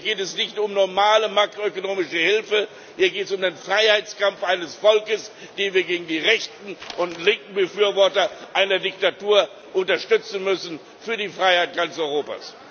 Hier geht es nicht um normale makroökonomische Hilfe, hier geht es um den Freiheitskampf eines Volkes, den wir gegen die rechten und linken Befürworter einer Diktatur unterstützen müssen für die Freiheit ganz Europas.